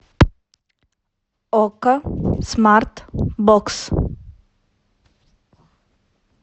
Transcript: окко смарт бокс